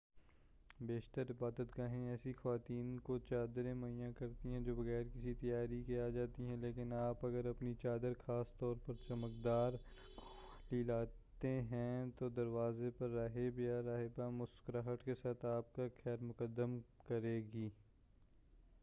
بیشتر عبادت گاہیں ایسی خواتین کو چادریں مہیا کرتی ہیں جو بغیر کسی تیاری کے آ جاتی ہیں لیکن اگر آپ اپنی چادر خاص طور پر چمکدار رنگوں والی لاتے ہیں تو دروازے پر راہب یا راہبہ مسکراہٹ کے ساتھ آپ کا خیر مقدم کرے گی